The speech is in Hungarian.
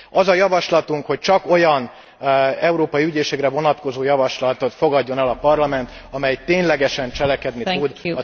Az a javaslatunk, hogy csak olyan európai ügyészségre vonatkozó javaslatot fogadjon el a Parlament, amely ténylegesen cselekedni tud.